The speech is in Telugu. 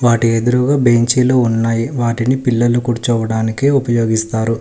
వాటి ఎదురుగా బెంచీ లు ఉన్నాయి వాటిని పిల్లలు కూర్చోవడానికి ఉపయోగిస్తారు.